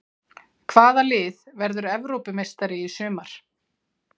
Hvaða lið verður Evrópumeistari í sumar?